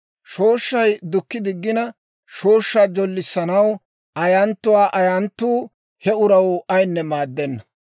Shooshshay dukki diggina, shooshshaa jollissanaw ayanttiyaa ayanttuu he uraw aynne maaddenna.